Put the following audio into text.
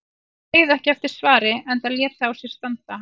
Hann beið ekki eftir svari enda lét það á sér standa.